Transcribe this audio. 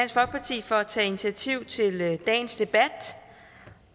tak til at initiativ til dagens debat